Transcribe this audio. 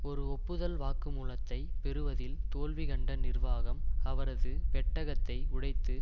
ஒரு ஒப்புதல் வாக்குமூலத்தை பெறுவதில் தோல்வி கண்ட நிர்வாகம் அவரது பெட்டகத்தை உடைத்து